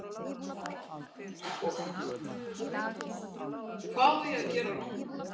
Hvað á ég að gera núna?